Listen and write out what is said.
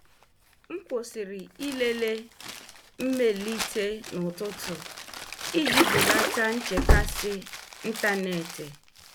M kwụsịrị ịlele mmelite n'ụtụtụ iji belata nchekasị ntanetị.